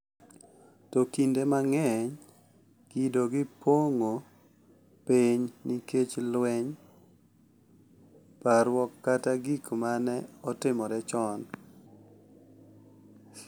To kinde mang’eny kido gi pong’o piny nikech lweny, parruok, kata gik ma ne otimore chon.